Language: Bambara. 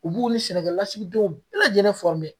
U b'u ni sɛnɛkɛlasigidenw bɛɛ lajɛlen .